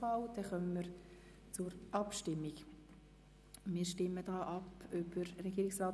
Somit kommen wir zur Abstimmung über Artikel 31c (neu) Absatz